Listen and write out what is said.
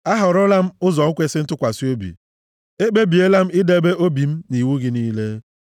Ahọrọla m ụzọ ikwesi ntụkwasị obi; e kpebiela m idebe obi m nʼiwu gị niile.